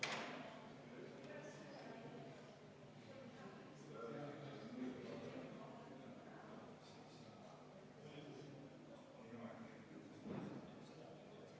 Selle esitajaks on põhiseaduskomisjon, juhtivkomisjon on arvestanud seda täielikult ja EKRE fraktsioon palub seda hääletada.